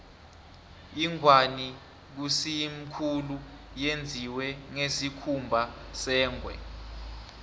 ingwani kayisemkhulu yenziwe ngesikhumba sengwe